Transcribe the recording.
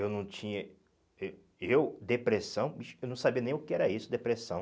Eu não tinha... Eh eu, depressão, vixi, que eu não sabia nem o que era isso, depressão.